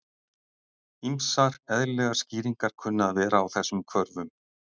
Ýmsar eðlilegar skýringar kunna að vera á þessum hvörfum.